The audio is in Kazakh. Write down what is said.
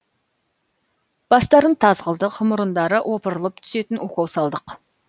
бастарын таз қылдық мұрындары опырылып түсетін укол салдық